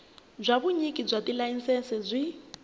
bya vunyiki bya tilayisense byi